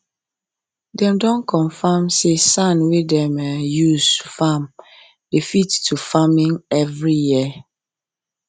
them don confam say sand wey dem um dey use farm dey fit to farming every year